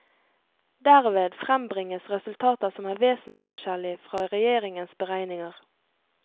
Derved frembringes resultater som er vesensforskjellig fra regjeringens beregninger.